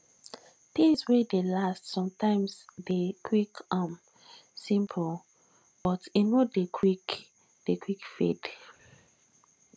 things wey dey last sometimes de dey um simple but e no dey quick dey quick fade